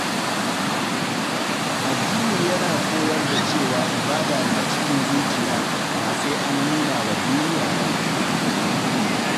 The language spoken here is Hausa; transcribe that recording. Addini yana koyar da cewa ibada na cikin zuciya, ba sai an nuna wa duniya ba.